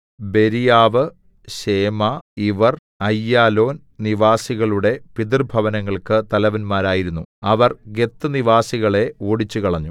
Beriah ശേമഇവർ Aijalon നിവാസികളുടെ പിതൃഭവനങ്ങൾക്ക് തലവന്മാരായിരുന്നു അവർ ഗത്ത് നിവാസികളെ ഓടിച്ചുകളഞ്ഞു